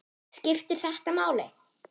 Skiptir þetta máli??